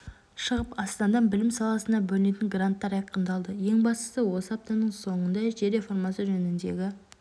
шығып астанада білім саласына бөлінетін гранттар айқындалды ең бастысы осы аптаның соңында жер реформасы жөніндегі